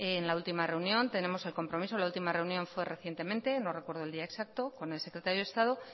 en la última reunión tenemos el compromiso la última reunión fue recientemente no recuerdo el día exacto con el secretario de estado